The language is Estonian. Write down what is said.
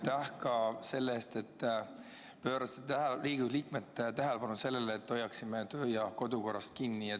Ja aitäh ka selle eest, et pöörasite Riigikogu liikmete tähelepanu sellele, et hoiaksime kodu- ja töökorra seadusest kinni!